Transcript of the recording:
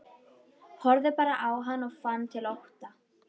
Horfði bara á hann og fann til ótta.